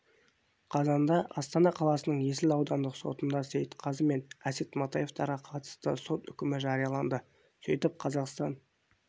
қазанда астана қаласының есіл аудандық сотында сейтқазы мен әсет матаевтарға қатысты сот үкімі жарияланды сөйтіп қазақстан